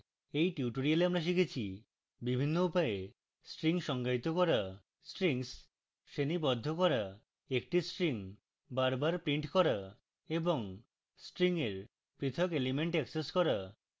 in tutorial আমরা শিখেছি: